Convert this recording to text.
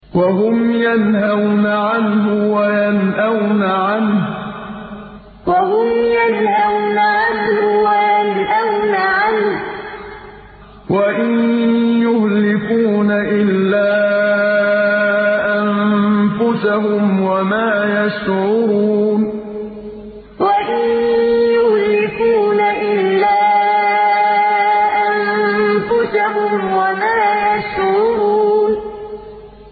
وَهُمْ يَنْهَوْنَ عَنْهُ وَيَنْأَوْنَ عَنْهُ ۖ وَإِن يُهْلِكُونَ إِلَّا أَنفُسَهُمْ وَمَا يَشْعُرُونَ وَهُمْ يَنْهَوْنَ عَنْهُ وَيَنْأَوْنَ عَنْهُ ۖ وَإِن يُهْلِكُونَ إِلَّا أَنفُسَهُمْ وَمَا يَشْعُرُونَ